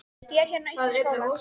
Ég er hérna uppi í skóla.